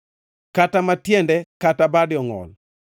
kata ka tiende kata bade ongʼol,